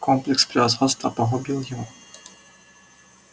комплекс превосходства погубил его